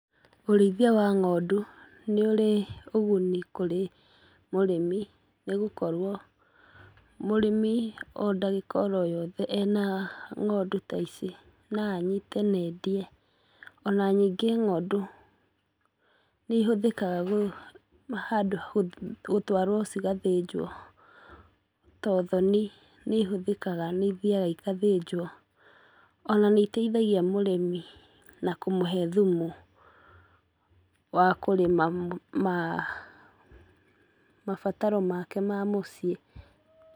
Ũrĩithia wa ng'ondu nĩũrĩ ũguni kũrĩ mũrĩmi, nĩgũkorwo mũrĩmi o ndagĩka o yothe ena ng'ondu ta ici no anyite nendie ona ningĩ ng'ondu nĩihũthĩkaga gũ handũ ha gũ gũtwaruo cigathĩnjuo ta ũthoni nĩ ihũthikaga nĩithiaga igathĩnjuo, ona nĩ iteithagia mũrĩmi na kũmũhe thumu wa kũrĩma ma mabataro make ma mũciĩ.